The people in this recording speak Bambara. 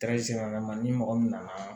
ni mɔgɔ min nana